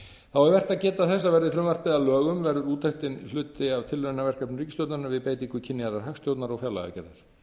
er vert að geta þess að verði frumvarpið að lögum verður úttektin hluti af tilraunaverkefni ríkisstjórnarinnar við beitingu kynjaðrar hagstjórnar og fjárlagagerðar